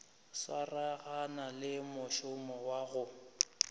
swaragane le mošomo wa go